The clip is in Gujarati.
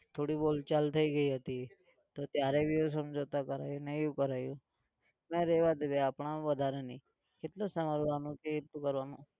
થોડી બોલચાલ થઇ ગઈ હતી તો ત્યારે भी એવું સમજાવતા હતા એને એવું કરાવ્યું મેં રહેવા દે ભાઈ આપણે વધારે નહિ કેટલું સાંભળવાનું કેટલું કરવાનું?